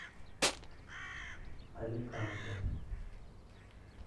аликанте